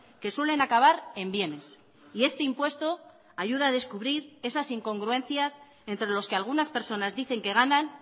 que suelen acabar en bienes y este impuesto ayuda a descubrir esas incongruencias entre los que algunas personas dicen que ganan